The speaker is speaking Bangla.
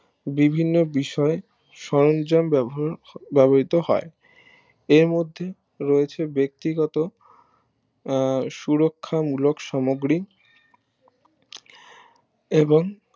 বিভিন্ন বিষয়ে সরন্জাম ব্যবহৃত হয় এর মধ্যে রয়েছে ব্যক্তিগত আহ সুরক্ষা মূলক সামুগ্রী এবং